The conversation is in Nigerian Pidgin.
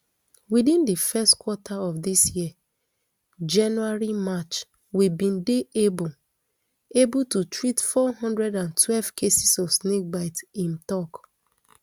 within di first quarter of dis year january march we bin dey able able to treat four hundred and twelve cases of snake bite im tok